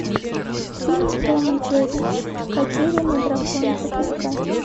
фильм том и джерри потерянный дракон запускай